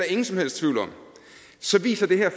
ingen som helst tvivl om så viser det her